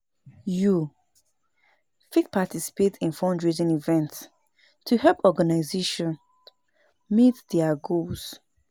Yu fit participate in fundraising events to help organizations meet their goals.